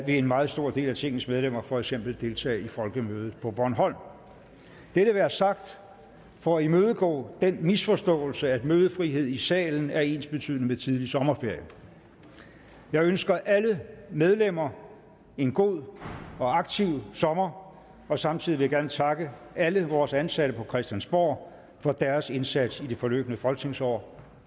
en meget stor del af tingets medlemmer for eksempel deltage i folkemødet på bornholm dette være sagt for at imødegå den misforståelse at mødefrihed i salen er ensbetydende med tidlig sommerferie jeg ønsker alle medlemmer en god og aktiv sommer og samtidig vil jeg gerne takke alle vores ansatte på christiansborg for deres indsats i det forløbne folketingsår